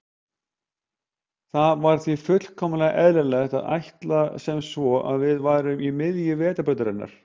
Það var því fullkomlega eðlilegt að ætla sem svo að við værum í miðju Vetrarbrautarinnar.